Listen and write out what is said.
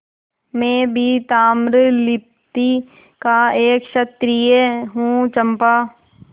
मैं भी ताम्रलिप्ति का एक क्षत्रिय हूँ चंपा